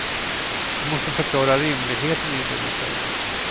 Du måste förklara rimligheten i det du säger.